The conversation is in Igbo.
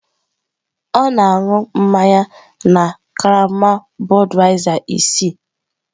Ọ na-aṅụ mmanya na karama Budweiser isii.